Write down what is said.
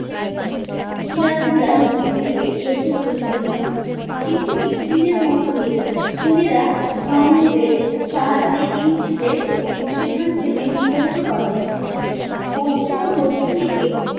সিরাদিলিয়ার নদীর তীরে এসে উপস্থিত হয়ে কিন্তু কিছু দিনের মধ্যেই সুনেরা রং নদের সাহায্যে ইউসিদের সেখান থেকে বিতারিত করেন পশ্চিম ও দক্ষিণ দিকে